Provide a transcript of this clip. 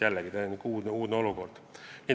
Jällegi täiesti uudne olukord.